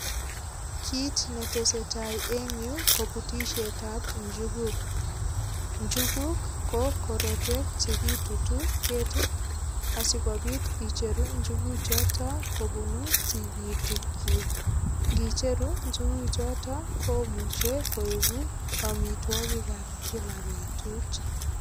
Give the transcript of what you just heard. Kiit netesei tai eng' yu ko putishetab njukuk njukuk ko korotwek chekitutu ketit asikobit icheru njukuchoto kobunu tikitikchi ngicheru njukuchoto komuchei koeku omitwokikab kila betut